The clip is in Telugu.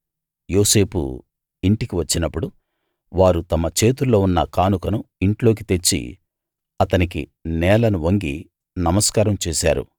యోసేపు ఇంటికి వచ్చినప్పుడు వారు తమ చేతుల్లో ఉన్న కానుకను ఇంట్లోకి తెచ్చి అతనికి నేలను వంగి నమస్కారం చేశారు